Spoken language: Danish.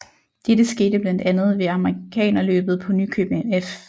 Dette skete blandt andet ved Amerikanerløbet på Nykøbing F